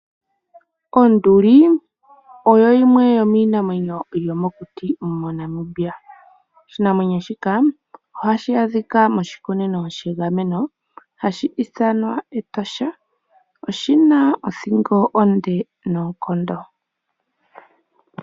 Onduli oyo yimwe yomiinamwenyo yomokuti moNamibia. Oshinamwenyo shika ohashi adhika moshikunino shegameno hashi ithanwa Etosha. Oshina othingo onde noonkondo.